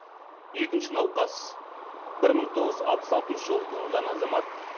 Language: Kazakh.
екінші науқас бір мың тоғыз жүз алпыс алтыншы жылы туылған азамат